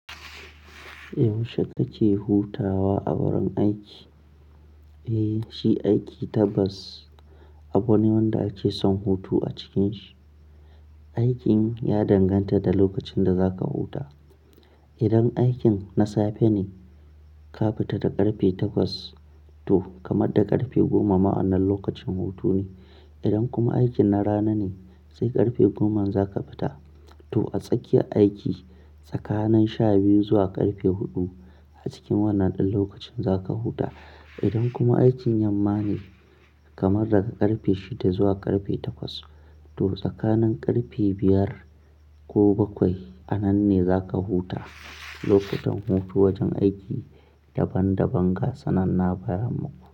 Yaushe kake hutawa a wurin aiki? Eh, shi aiki tabbas abu ne wanda ake son hutu a cikin shi. Aikin ya danganta da lokacin da zaka huta. Idan aikin na safe ne, ka fita da ƙarfe takwas to kamar da ƙarfe goma ma a wannan lokacin hutu ne. Idan kuma aikin na rana ne, sai ƙarfe goman za ka fita to a tsakiyar aiki tsakanin sha biyu zuwa ƙarfe huɗu a cikin wannan ɗan lokacin za ka huta. Idan kuma aikin yamma ne, kamar daga ƙarfe shida zuwa ƙarfe takwas to tsakanin ƙarfe biyar ko bakwai a nan ne zaka huta. Lokutan hutu wajen aiki daban daban ga su nan na gaya muku.